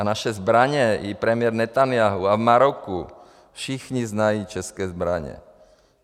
A naše zbraně i premiér Netanjahu a v Maroku, všichni znají české zbraně.